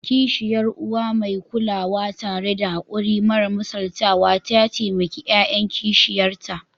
Kishiyar Uwa mai kulawa, tare da haƙuri mara misaltuwa, ta taimaki ƴaƴan kishiyarta